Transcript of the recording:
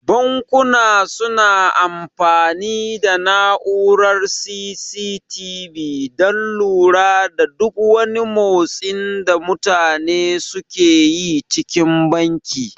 Bankuna su na amfani da na'urar C.C.T.V dan lura da duk wani motsin da mutane suke yi cikin banki